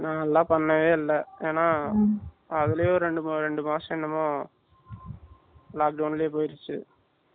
நாலாம் பண்ணவே இல்ல ஏன்னா அதுலேயே ஒரு ரெண்டு ரெண்டு மாசம் என்னவோ lockdown லயே போயிட்டு